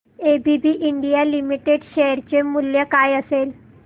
ABB India limited share चे मूल्य काय असेल